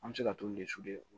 An bɛ se ka t'olu